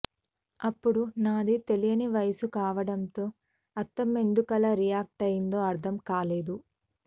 అప్పుడు నాది తెలియని వయసు కావడంతో అత్తమ్మ ఎందుకలా రియాక్ట్ అయ్యిందో అర్థంకాలేదు